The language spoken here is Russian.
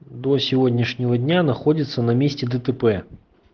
до сегодняшнего дня находится на месте дтп